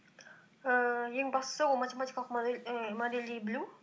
ііі ең бастысы ол математикалық модельдей білу